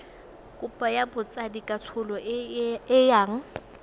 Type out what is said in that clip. kopo ya botsadikatsholo e yang